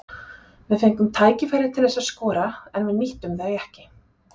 Við fengum tækifæri til þess að skora en við nýttum þau ekki.